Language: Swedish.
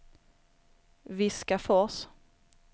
Viskafors